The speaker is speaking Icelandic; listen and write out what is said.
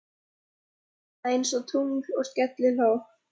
Það ljómaði einsog tungl og skellihló.